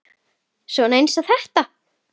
Svona eins og þetta!